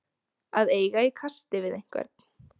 Að eiga í kasti við einhvern